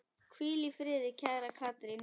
Hvíl í friði, kæra Katrín.